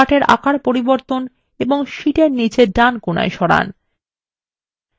chartএর আকার পরিবর্তন এবং শীটএর নীচে ডান কোণায় সরান